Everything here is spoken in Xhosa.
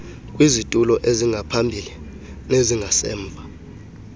kwizitulo ezingaphambili nezingasemva